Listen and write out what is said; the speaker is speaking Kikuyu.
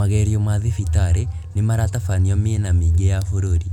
Magerio ma thibitarĩ nĩ maratabanio mĩena mĩingi ya bũrũri